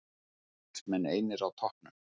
Valsmenn einir á toppnum